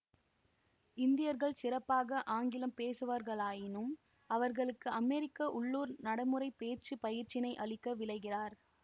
இந்தியர்கள் சிறப்பாக ஆங்கிலம் பேசுபவர்களாயினும் அவர்களுக்கு அமெரிக்க உள்ளூர் நடைமுறை பேச்சு பயிற்சியினை அளிக்க விளைகிறார்